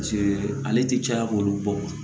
ale ti caya k'olu bɔ